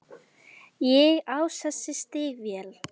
Ég á þessi stígvél.